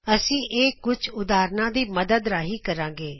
ਅਸੀ ਇਹ ਕੁਝ ਉਦਾਹਰਨਾਂ ਦੀ ਮਦਦ ਰਾਂਹੀ ਕਰਾਗੇ